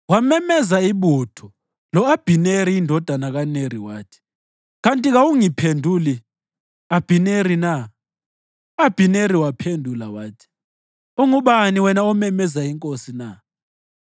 Wamemeza ibutho lo-Abhineri indodana kaNeri, wathi, “Kanti kawungiphenduli, Abhineri na?” U-Abhineri waphendula wathi, “Ungubani wena omemeza inkosi na?”